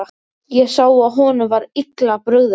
Ég sá að honum var illa brugðið.